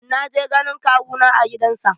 Na je ganin kawu na a gidan sa.